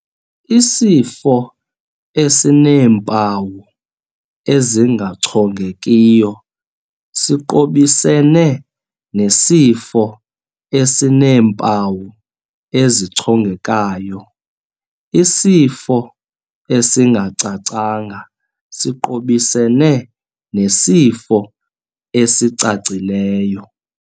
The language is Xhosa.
Isifo esineempawu ezingachongekiyo siqobisene nesifo esineempawu ezichongekayo, isifo esingacacanga siqobisene nesifo esicacileyo.